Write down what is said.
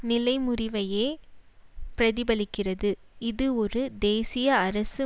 நிலைமுறிவையே பிரதிபலிக்கிறது இது ஒரு தேசிய அரசு